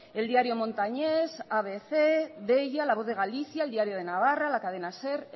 el diario montañés abc deia la voz de galicia el diario de navarra la cadena ser